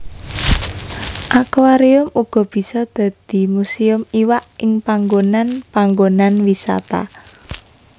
Akuarium uga bisa dadi muséum iwak ing panggonan panggonan wisata